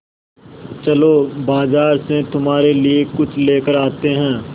चलो बाज़ार से तुम्हारे लिए कुछ लेकर आते हैं